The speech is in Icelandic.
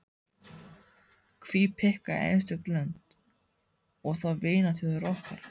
Hví pikka í einstök lönd, og þá vinaþjóðir okkar.